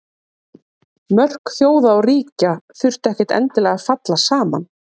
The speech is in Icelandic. Mörk þjóða og ríkja þurftu ekkert endilega að falla saman.